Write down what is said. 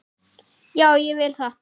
Já, ég vil það.